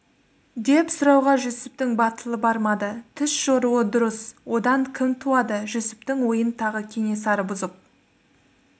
деп сұрауға жүсіптің батылы бармады түс жоруы дұрыс одан кім туады жүсіптің ойын тағы кенесары бұзып